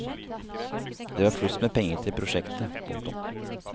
Det var flust med penger til prosjektet. punktum